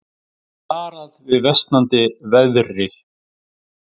Varað við versnandi veðri